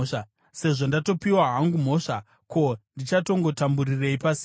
Sezvo ndatopiwa hangu mhosva, ko, ndichagotamburirei pasina?